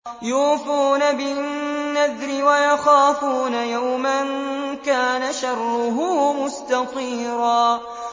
يُوفُونَ بِالنَّذْرِ وَيَخَافُونَ يَوْمًا كَانَ شَرُّهُ مُسْتَطِيرًا